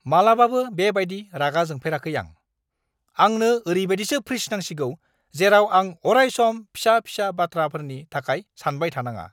मालाबाबो बे बायदि रागा जोंफेराखै आं! आंनो ओरैबायदिसो फ्रिज नांसिगौ जेराव आं अराय-सम फिसा-फिसा बाथ्राफोरनि थाखाय सानबाय थानाङा!